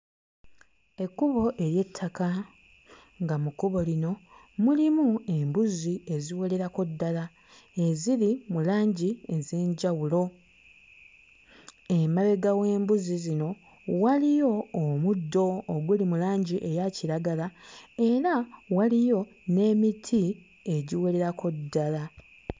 Ekkubo ery'ettaka, nga mu kkubo lino mulimu embuzi eziwererako ddala eziri mu langi ez'enjawulo. Emabega w'embuzi zino waliyo omuddo oguli mu langi eya kiragala era waliyo n'emiti egiwererako ddala.